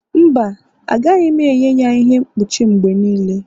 mba, agaghị m enye ya ihe mkpuchi m mgbe niile